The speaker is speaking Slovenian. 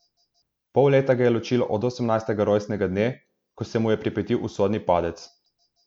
Pol leta ga je ločilo od osemnajstega rojstnega dne, ko se je mu pripetil usodni padec.